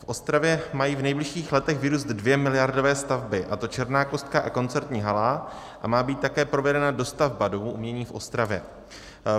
V Ostravě mají v nejbližších letech vyrůst dvě miliardové stavby, a to Černá kostka a koncertní hala, a má být také provedena dostavba Domu umění v Ostravě.